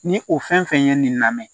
Ni o fɛn fɛn ye nin lamɛn